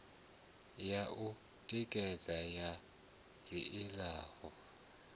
ya u tikedza ya dzilafho